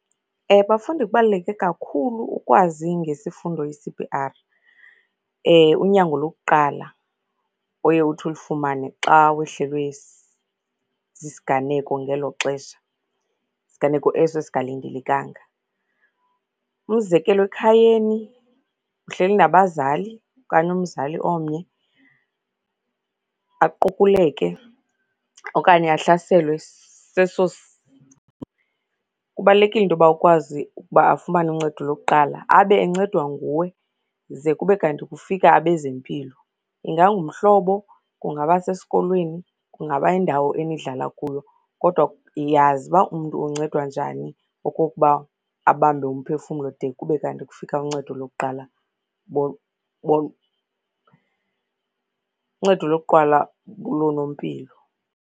Bafundi kubaluleke kakhulu ukwazi ngesifundo i-C_P-R, unyango lokuqala oye uthi ulifumane xa wehlelwe sisiganeko ngelo xesha, siganeko eso esingalindelekanga. Umzekelo, ekhayeni uhleli nabazali okanyi umzali omnye, aqukuleke okanye ahlaselwe , kubalulekile into yoba ukwazi ukuba afumane uncedo lokuqala, abe encedwa nguwe ze kube kanti kufika abezempilo. Ingangumhlobo, kungaba sesikolweni, kungaba yindawo enihlala kuyo kodwa yazi uba umntu uncedwa njani okokuba abambe umphefumlo de kube kanti kufika uncedo lokuqala uncedo lokuqala loonompilo.